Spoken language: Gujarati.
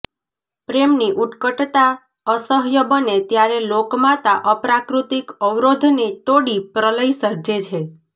પ્રેમની ઉત્કટતા અસહ્ય બને ત્યારે લોકમાતા અપ્રાકૃતિક અવરોધને તોડી પ્રલય સર્જે છે